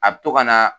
A bɛ to ka na